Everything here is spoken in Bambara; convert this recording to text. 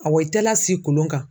Awɔ i tɛ lasi kolon kan.